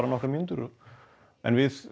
nokkrar mínútur en við